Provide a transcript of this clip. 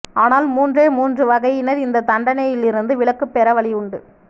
ஆனால் மூன்றே மூன்று வகையினர் இந்த தண்டனையிலிருந்து விலக்குப்பெற வழியுண்டு